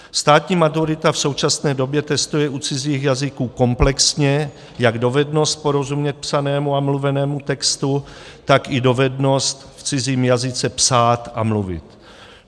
Státní maturita v současné době testuje u cizích jazyků komplexně jak dovednost porozumět psanému a mluvenému textu, tak i dovednost v cizím jazyce psát a mluvit.